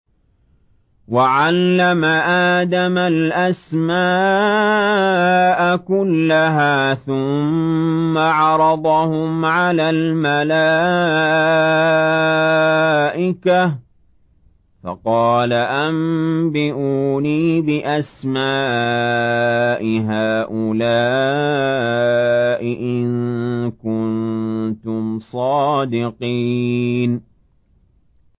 وَعَلَّمَ آدَمَ الْأَسْمَاءَ كُلَّهَا ثُمَّ عَرَضَهُمْ عَلَى الْمَلَائِكَةِ فَقَالَ أَنبِئُونِي بِأَسْمَاءِ هَٰؤُلَاءِ إِن كُنتُمْ صَادِقِينَ